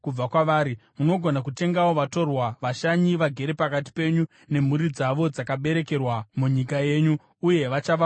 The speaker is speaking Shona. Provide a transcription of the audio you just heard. Munogona kutengawo vatorwa vashanyi vagere pakati penyu nemhuri dzavo dzakaberekerwa munyika yenyu, uye vachava pfuma yenyu.